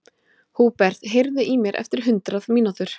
Húbert, heyrðu í mér eftir hundrað mínútur.